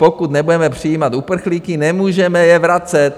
Pokud nebudeme přijímat uprchlíky, nemůžeme je vracet.